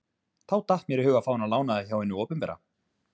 Þá datt mér í hug að fá hana lánaða hjá hinu opinbera.